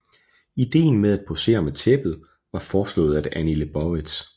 Ideen med at posere med tæppet var foreslået af Annie Liebovitz